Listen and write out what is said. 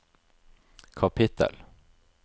kapittel